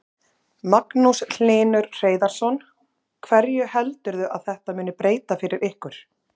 Magnús Hlynur Hreiðarsson: Hverju heldurðu að þetta muni breyta fyrir ykkur?